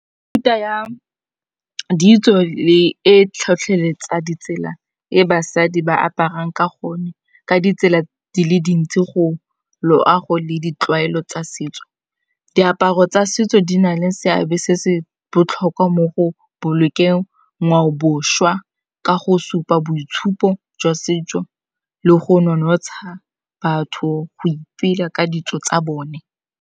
Mefuta ya ditso le e tlhotlheletsa ditsela e basadi ba aparang ka gone ka ditsela di le dintsi go loago le ditlwaelo tsa setso. Diaparo tsa setso di na le seabe se se botlhokwa mo go bolokeng ngwaobošwa ka go supa boitshupo jwa setso le go nonotsha batho go ipela ka ditso tsa bone.